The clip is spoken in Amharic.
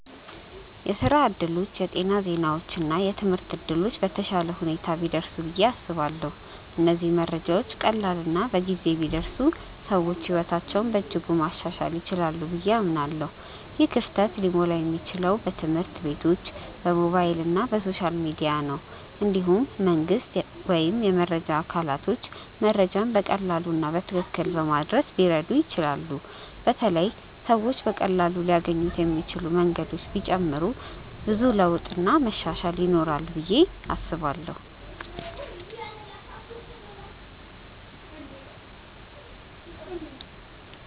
የስራ እድሎች፣ የጤና ዜናዎች እና የትምህርት እድሎች በተሻለ ሁኔታ ቢደርሱ ብዬ አስባለሁ። እነዚህ መረጃዎች ቀላል እና በጊዜ ቢደርሱ ሰዎች ሕይወታቸውን በእጅጉ ማሻሻል ይችላሉ ብዬ አምናለሁ። ይህ ክፍተት ሊሞላ የሚችለው በትምህርት ቤቶች፣ በሞባይል እና በሶሻል ሚዲያ ነው። እንዲሁም መንግስት ወይም የመረጃ አካላቶች መረጃን በቀላሉ እና በትክክል በማድረስ ብዙ ሊረዱ ይችላሉ በተለይ ሰዎች በቀላሉ ሊያገኙት የሚችሉ መንገዶች ቢጨመሩ ብዙ ለውጥ እና መሻሻል ይኖራል ብዬ አስባለው።